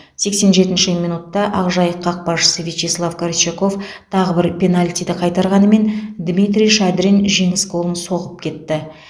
сексен жетінші минутта ақжайық қақпашысы вячеслав горчаков тағы бір пенальтиді қайтарғанымен дмитрий шадрин жеңіс голын соғып кетті